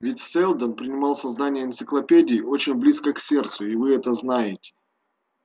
ведь сэлдон принимал создание энциклопедии очень близко к сердцу и вы это знаете